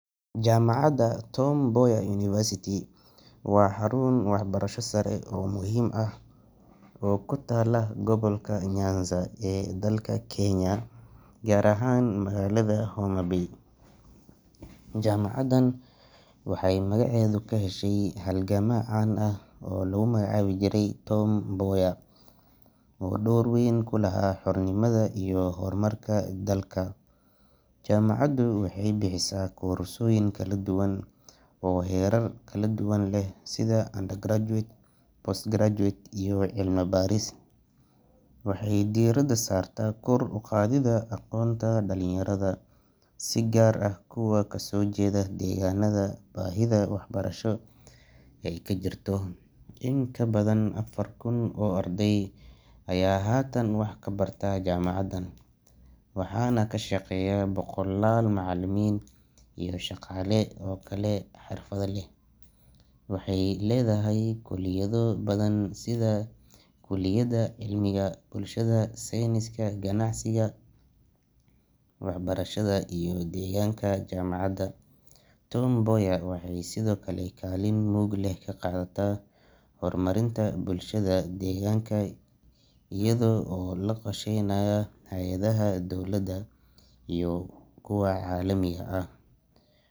Isticmaalka gari gacan wuxuu leeyahay faa’iidooyin badan oo nolosha dadka ka dhigaya mid fudud oo hufan. Gari gacan waa qalab sahliya wareejinta alaabta culus sida biyaha, dhuxusha, cuntada ama agabka ganacsiga, gaar ahaan meelaha aysan gaadiidku si sahal ah u gali karin. Dadka ku nool tuulooyinka ama xaafadaha ciriiriga ah waxay si gaar ah ugu faa’iideystaan gari gacan, maadaama ay awood u siinayso inay si fudud u qaadaan alaabta guriga ama suuqa la geeyo. Mid ka mid ah faa’iidooyinka ugu weyn ayaa ah in gari gacan uusan u baahnayn shidaal ama koronto, taasoo ka dhigeysa mid dhaqaale ahaan la awoodi karo oo deegaan ahaan nadiif ah. Waxaa kale oo uu shaqo abuur u yahay dhalinyarada iyo dad badan oo la’aanta gaadiid raran karo si maalinle ah ugu tiirsan shaqada gari gacan. Waxaa la arkaa in in ka badan shan meelood meel dadka suuqa ka shaqeeya ay adeegsadaan gari gacan si ay u fududeeyaan hawshooda. Intaa waxaa dheer, isticmaalka gari gacan wuxuu yareeyaa halista dhaawacyada dhabarka ama gacmaha marka.